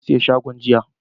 Na siya shagon jiya,